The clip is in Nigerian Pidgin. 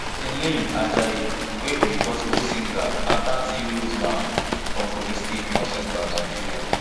timileyin ajayi wey be gospel singer na thirty years old man from kogi state northcentral nigeria